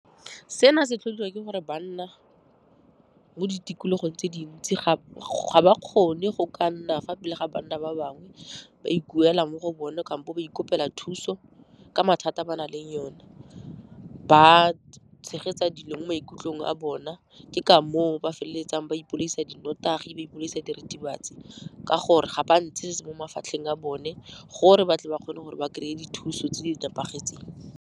Seno se tlhodiwa ke gore banna mo ditikologong tse dintsi ga ba kgone go ka nna fa pele ga banna ba bangwe, ba ikuela mo go bone kampo ba ikopela thuso ka mathata a ba na leng one. Ba tshegetsa dilo mo maikutlong a bona, ke ka moo ba feleletsang ba ipolaisa dinnotagi, ba ipolaisa diritibatsi ka gore ga ba ntshe se mo mafatlheng a bone gore ba tle ba kgone gore ba kry-e dithuso tse di nepagetseng.